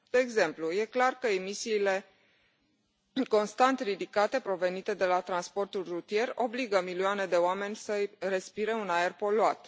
De exemplu, e clar că emisiile constant ridicate provenite de la transportul rutier obligă milioane de oameni să respire un aer poluat.